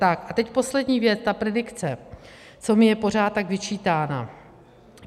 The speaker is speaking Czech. Tak a teď poslední věc - ta predikce, co mi je pořád tak vyčítána.